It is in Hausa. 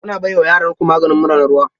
Kuna bai wa yaranku maganin mura na ruwa?